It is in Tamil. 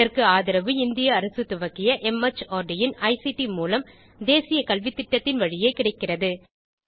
இதற்கு ஆதரவு இந்திய அரசு துவக்கிய மார்ட் இன் ஐசிடி மூலம் தேசிய கல்வித்திட்டத்தின் வழியே கிடைக்கிறது